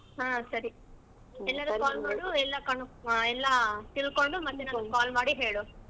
ಹ್ಮ್ ಸರಿ ಎಲ್ಲರ್ಗು call ಮಾಡು ಎಲ್ಲ ಕನೋ~ ಎಲ್ಲಾ ತಿಳ್ಕೊಂಡು ಮತ್ತೆ ನನಗ call ಮಾಡಿ ಹೇಳು.